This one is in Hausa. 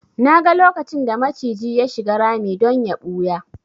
Naga lokacin da maciji ya shiga rami don ya ɓuya